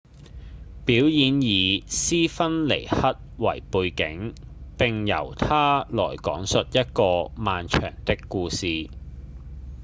表演以斯芬克斯為背景並由它來講述一個漫長的故事